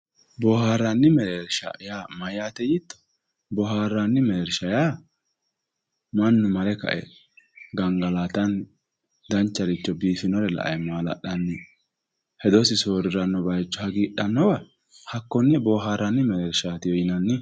Booharanni mereersha yaa mayate yiitto ,booharanni mereersha yaa mannu marre kae gangalattanni dancharicho biifinore la"anni mala'lano hedosi soorirano bayicho hagiidhanowa hakkone booharanni mereershatiwe yinnanni.